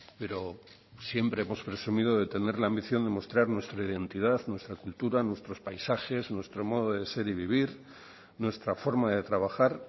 pero siempre hemos presumido de tener la ambición de mostrar nuestra identidad nuestra cultura nuestros paisajes nuestro modo de ser y vivir nuestra forma de trabajar